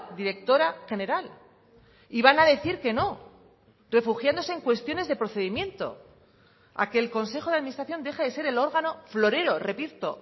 directora general y van a decir que no refugiándose en cuestiones de procedimiento a que el consejo de administración deje de ser el órgano florero repito